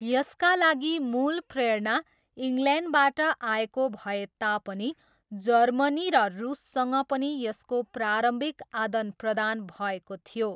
यसका लागि मूल प्रेरणा इङ्ल्यान्डबाट आएको भएता पनि जर्मनी र रुससँग पनि यसको प्रारम्भिक आदानप्रदान भएको थियो।